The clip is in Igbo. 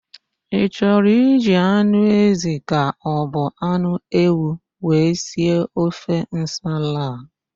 Ị chọrọ iji anụ ézì ka ọbụ anụ ewu wee si ofe nsala a?